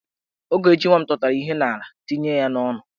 Ogechi nwa m tụtara ihe n'ala tinye ya n'onu.